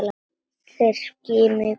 Þeir skimuðu í kringum sig.